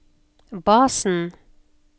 basen